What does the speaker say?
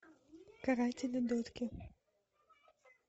каратели дотки